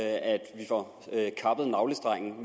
gå